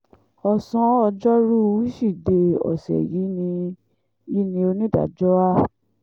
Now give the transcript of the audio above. ọ̀sán ọjọ́rùú wíṣídẹ̀ẹ́ ọ̀sẹ̀ yìí ni yìí ni onídàájọ́ a